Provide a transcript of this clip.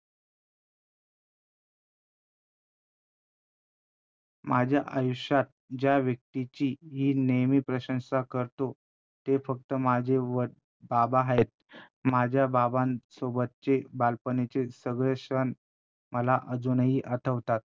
माझ्या आयुष्यात ज्या व्यक्तींची मी नेहमी प्रशंसा करतो ते फक्त माझे व बाबा आहेत. माझ्या बाबासोबतचे बालपणीचे सगळे क्षण मला अजूनही आठवतात.